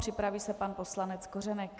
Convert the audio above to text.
Připraví se pan poslanec Kořenek.